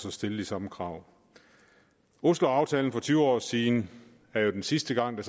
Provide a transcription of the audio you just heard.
at stille de samme krav osloaftalen for tyve år siden er den sidste gang der